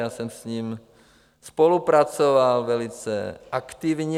Já jsem s ním spolupracoval velice aktivně.